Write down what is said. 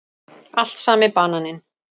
Allt sami bananinn.